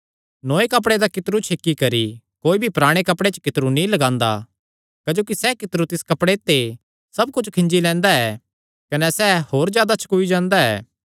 नौये कपड़े दा कितरू छेकी करी कोई भी पराणे कपड़े च कितरू नीं लगांदा क्जोकि सैह़ कितरू तिस कपड़े ते सब कुच्छ खींजी लैंदा ऐ कने सैह़ होर जादा छकूई जांदा ऐ